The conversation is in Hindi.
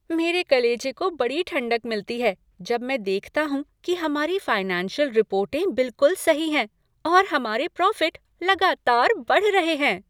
मेरे कलेजे को बड़ी ठंडक मिलती है जब मैं देखता हूँ कि हमारी फाइनेंशियल रिपोर्टें बिलकुल सही हैं और हमारे प्रॉफिट लगातार बढ़ रहे हैं।